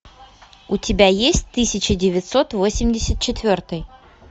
у тебя есть тысяча девятьсот восемьдесят четвертый